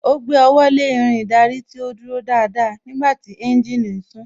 Ó gbé ọwọ́ lé Irin ìdarí tí ó dúró dáadáa nígbàtí tí ẹ́ńjìnì ń sún